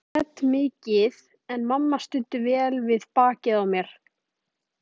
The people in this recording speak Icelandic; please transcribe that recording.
Ég grét mikið en mamma studdi vel við bakið á mér.